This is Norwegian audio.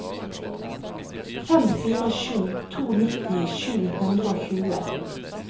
fem fire sju to nitti sju hundre og tjue